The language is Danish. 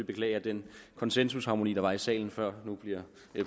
beklage at den konsensusharmoni der var i salen før nu bliver